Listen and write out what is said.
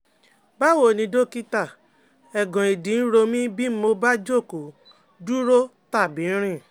Báwo ni dọ́kítà, eegan ìdí ń ro mí bí mo bá jókòó, dúró tàbí rìn